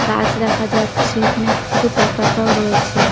গাছ দেখা যাচ্ছে এখানে কিছু পতাকাও রয়েছে ।